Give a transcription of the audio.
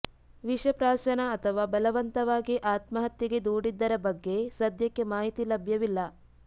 ವಿಷ ಪ್ರಾಶನ ಅಥವಾ ಬಲವಂತವಾಗಿ ಆತ್ಮಹತ್ಯೆಗೆ ದೂಡಿದ್ದರ ಬಗ್ಗೆ ಸದ್ಯಕ್ಕೆ ಮಾಹಿತಿ ಲಭ್ಯವಿಲ್ಲ